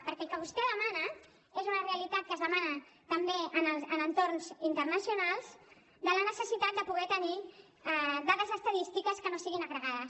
perquè el que vostè demana és una realitat que es demana també en entorns internacionals la necessitat de poder tenir dades estadístiques que no siguin agregades